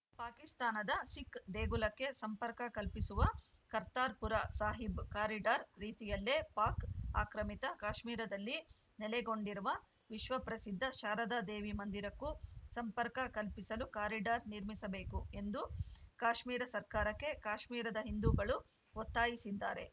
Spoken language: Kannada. ಪಾಕಿಸ್ತಾನದ ಸಿಖ್‌ ದೇಗುಲಕ್ಕೆ ಸಂಪರ್ಕ ಕಲ್ಪಿಸುವ ಕರ್ತಾರ್‌ಪುರ ಸಾಹಿಬ್‌ ಕಾರಿಡಾರ್‌ ರೀತಿಯಲ್ಲೇ ಪಾಕ್‌ ಆಕ್ರಮಿತ ಕಾಶ್ಮೀರದಲ್ಲಿ ನೆಲೆಗೊಂಡಿರುವ ವಿಶ್ವ ಪ್ರಸಿದ್ಧ ಶಾರದಾ ದೇವಿ ಮಂದಿರಕ್ಕೂ ಸಂಪರ್ಕ ಕಲ್ಪಿಸಲು ಕಾರಿಡಾರ್‌ ನಿರ್ಮಿಸಬೇಕು ಎಂದು ಕಾಶ್ಮೀರ ಸರ್ಕಾರಕ್ಕೆ ಕಾಶ್ಮೀರದ ಹಿಂದೂಗಳು ಒತ್ತಾಯಿಸಿದ್ದಾರೆ